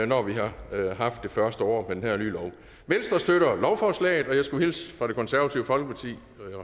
når vi har haft det første år med den her nye lov venstre støtter lovforslaget og jeg skulle hilse fra det konservative folkeparti